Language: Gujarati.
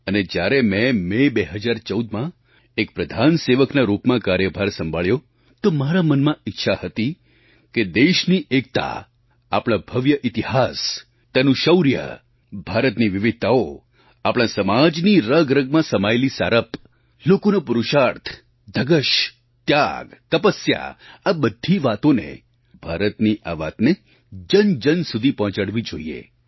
અને જ્યારે મેં મે 2014માં એક પ્રધાનસેવકના રૂપમાં કાર્યભાર સંભાળ્યો તો મારા મનમાં ઈચ્છા હતી કે દેશની એકતા આપણા ભવ્ય ઇતિહાસ તેનું શૌર્ય ભારતની વિવિધતાઓ આપણા સમાજની રગરગમાં સમાયેલી સારપ લોકોનો પુરુષાર્થ ધગશ ત્યાગ તપસ્યા આ બધી વાતોને ભારતની આ વાતને જનજન સુધી પહોંચાડવી જોઈએ